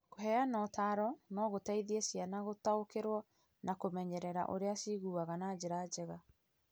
Kũheana ũtaaro no gũteithie ciana gũtaũkĩrũo na kũmenyerera ũrĩa ciiguaga na njĩra njega.